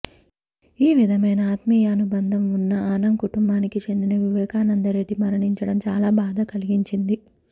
ఆ విధమైన ఆత్మీయానుబంధం ఉన్న ఆనం కుటుంబానికి చెందిన వివేకానంద రెడ్డి మరణించడం చాలా బాధ కలిగించింది